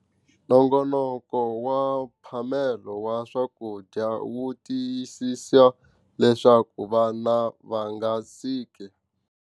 Nongonoko wa mphamelo wa swakudya wu tiyisisa leswaku vana va nga siki.